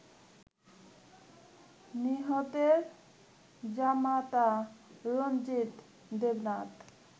নিহতের জামাতা রঞ্জিত দেবনাথ